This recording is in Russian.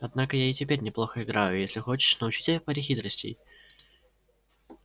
однако я и теперь неплохо играю и если хочешь научу тебя паре хитростей